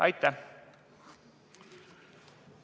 Aitäh!